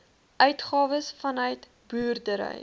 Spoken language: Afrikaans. uitgawes vanuit boerdery